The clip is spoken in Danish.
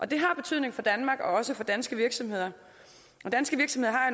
det har betydning for danmark og også for danske virksomheder